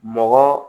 Mɔgɔ